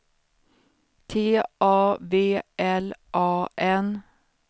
T A V L A N